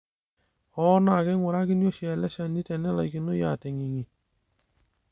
hoo naaa keingurakini oshi ele shani tene laikinoi aating'ingi